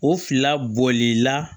O fila bolila